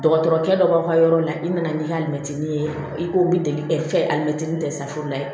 Dɔgɔtɔrɔkɛ dɔ b'aw ka yɔrɔ la i nana n'i ka mɛtiri ye i k'o bi delili kɛ fɛn alimɛtini dɛ saforo ye